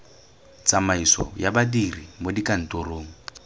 tsamaiso ya badiri mo dikantorong